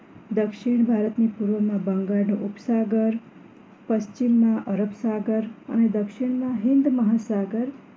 દક્ષિણ ભારતની પૂર્વમાં બંગાળનો ઉપસાગર પશ્ચિમમાં અરબસાગર અને દક્ષિણમાં હિંદ મહાસાગર